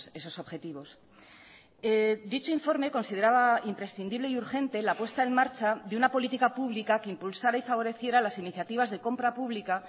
esos objetivos dicho informe consideraba imprescindible y urgente la puesta en marcha de una política pública que impulsara y favoreciera las iniciativas de compra pública